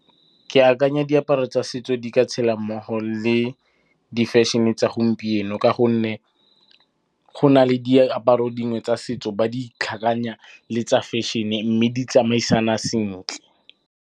Ke akanya diaparo tsa setso di ka tshela mmogo le di fashion-e tsa gompieno ka gonne go na le diaparo dingwe tsa setso ba di tlhakanya le tsa fashion-e mme di tsamaisana sentle.